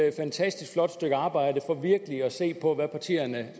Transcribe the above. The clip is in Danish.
et fantastisk flot stykke arbejde for virkelig at se på hvad partierne